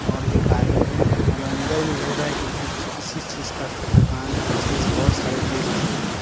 और एक आदमी है और अंदर में लग रहा है कि कुछ किसी चीज़ का दुकान है जिसमें बहुत सारे भीड़ लगे हुए हैं।